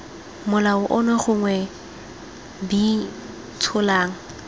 molao ono gongwe b tsholang